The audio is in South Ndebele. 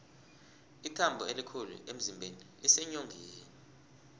ithambo elikhulu emzimbeni liseenyongeni